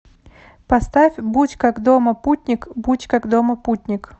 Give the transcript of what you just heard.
поставь будь как дома путник будь как дома путник